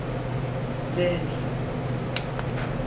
lenhle